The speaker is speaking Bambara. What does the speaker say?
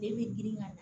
Den bɛ girin ka